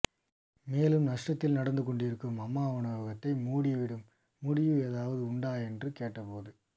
மேலும் நஷ்டத்தில் நடந்துகொண்டிருக்கும் அம்மா உணவகத்தை மூடிவிடும் முடிவு ஏதாவது உண்டா என்று கேட்டபோது